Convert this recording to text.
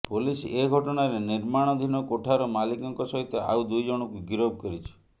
police ଏ ଘଟଣାରେ ନିର୍ମାଣଧୀନ କୋଠାର ମାଲିକଙ୍କ ସହିତ ଆଉ ଦୁଇ ଜଣଙ୍କୁ ଗରିଫ କରିଛି